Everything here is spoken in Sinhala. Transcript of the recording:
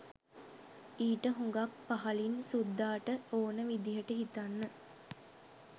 ඊට හුඟක් පහළින් සුද්දාට ඕන විදියට හිතන්න